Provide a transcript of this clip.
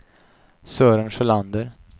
Sören Sjölander